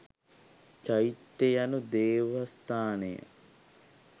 චෛත්‍ය යනු දේවස්ථානය